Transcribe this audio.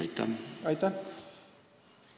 Aitäh!